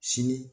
Sini